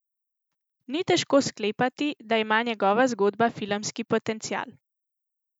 Ni težko sklepati, da ima njegova zgodba filmski potencial.